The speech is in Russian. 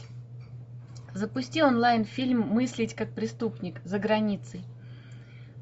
запусти онлайн фильм мыслить как преступник за границей